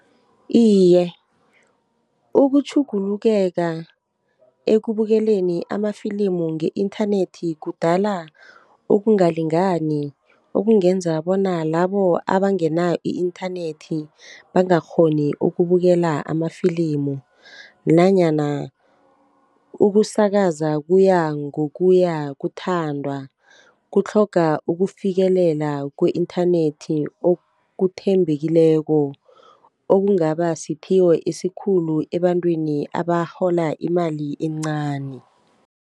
Iye, ukutjhugulukeka ekubukeleni amafilimu nge-inthanethi kudala ukungalingani okungenza bona labo abangenayo i-inthanethi bangakghoni ukubukela amafilimu, nanyana ukusakaza kuyangokuya kuthandwa kutlhoga ukufikelela ku-inthanethi okuthembekileko, okungaba siphiwo esikhulu ebantwini abarhola imali encani.